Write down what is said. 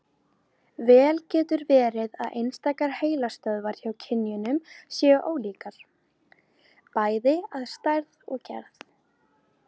Vel getur verið að einstakar heilastöðvar hjá kynjunum séu ólíkar, bæði að stærð og gerð.